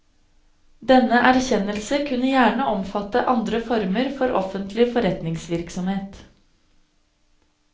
Denne erkjennelse kunne gjerne omfatte andre former for offentlig forretningsvirksomhet.